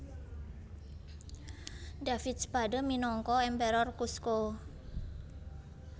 David Spade minangka Emperor Kuzco